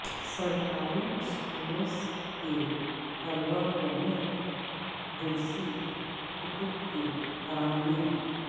سرکاری اسکولس کے طلبہ کو مفت درسی کتب کی فراہمی